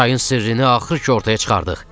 Çayın sirrini axır ki, ortaya çıxartdıq.